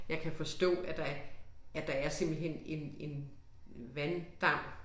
Jeg kan forstå at der er at der er simpelthen en en vanddam